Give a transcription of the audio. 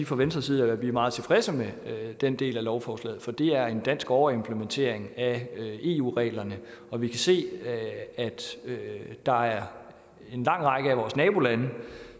fra venstres side er vi meget tilfredse med den del af lovforslaget for det er en dansk overimplementering af eu reglerne og vi kan se at der er en lang række af vores nabolande